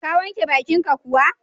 Ka wanke baƙinka kuwa?